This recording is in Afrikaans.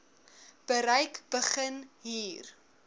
bereik begin hier